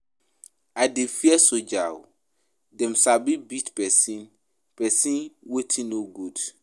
I dey fear soldiers o, dem sabi beat pesin pesin wetin no good.